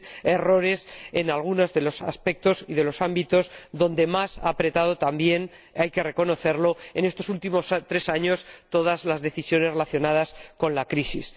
errores en algunos de los aspectos y de los ámbitos donde más han incidido —también hay que reconocerlo— en estos últimos tres años todas las decisiones relacionadas con la crisis.